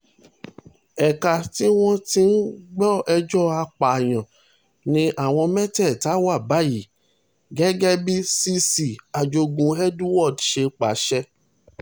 ẹ̀ka tí wọ́n ti ń gbọ́ ẹjọ́ apààyàn ni àwọn mẹ́tẹ̀ẹ̀ta wà báyìí gẹ́gẹ́ bí cc ajogun edward ṣe pàṣẹ